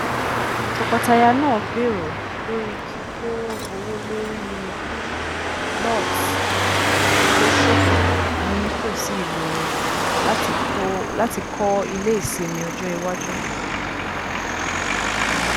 tọkọtaya náà gbèrò lórí kíkó owó lórí lot tó ṣófo ní tòsí ìlú wọn láti kọ ilé ìsinmi ọjọ iwájú